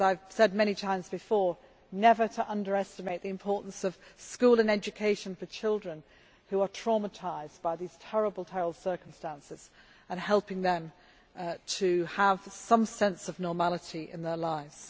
As I have said many times before, we should never underestimate the importance of school and education for children who are traumatised by these terrible circumstances and of helping them to have some sense of normality in their lives.